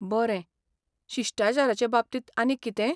बरें, शिश्टाचारांचे बाबतींत आनीक कितेंय?